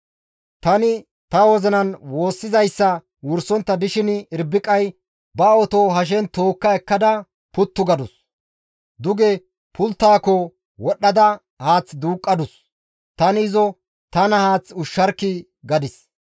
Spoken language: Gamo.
«Tani ta wozinan woossizayssa wursontta dishin Irbiqay ba oto hashen tookka ekkada puttu gadus; duge pulttaako wodhdhada haath duuqqadus; tani izo, ‹Tana haath ushsharkkii!› gadis.